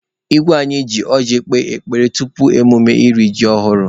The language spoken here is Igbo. Igwe anyị ji ọjị kpee ekpere tupu emume iri ji ọhụrụ.